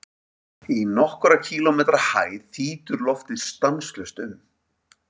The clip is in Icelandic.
Í nokkurra kílómetra hæð þýtur loftið stanslaust um.